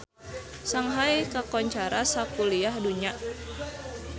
Shanghai kakoncara sakuliah dunya